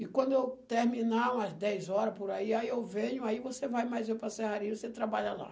E quando eu terminar, umas dez horas por aí, aí eu venho, aí você vai mais eu para a serraria, e você trabalha lá.